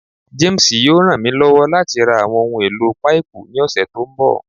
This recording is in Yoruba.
James yoo ran mi lọwọ lati ra awọn ohun elo paipu ni ọsẹ to nbọ